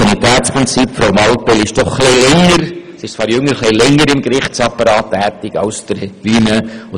Frau Mallepell ist zwar jünger, aber schon länger im Gerichtsapparat tätig als Herr Wuillemin.